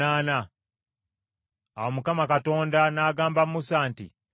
Awo Mukama Katonda n’agamba Musa nti,